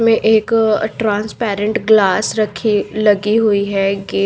मैं एक अ ट्रांसपरेंट ग्लास रखी लगी हुई है गे --